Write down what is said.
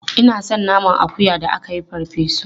Ina son naman akuya da aka yi farfe su.